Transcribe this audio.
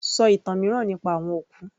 Sọ ìtàn mìíràn nípa àwọn òkú